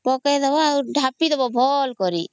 ପକେଇଦେବା ଆଉ ଢାପି ଦବ ଭଲ କରି